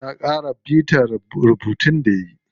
Ta ƙara bita rubuntun da yayi.